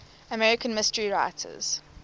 american mystery writers